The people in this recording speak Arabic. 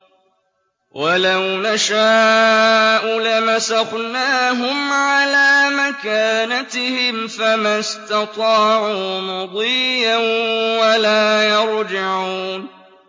وَلَوْ نَشَاءُ لَمَسَخْنَاهُمْ عَلَىٰ مَكَانَتِهِمْ فَمَا اسْتَطَاعُوا مُضِيًّا وَلَا يَرْجِعُونَ